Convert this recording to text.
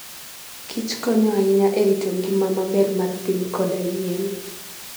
kich konyo ahinya e rito ngima maber mar piny koda yien.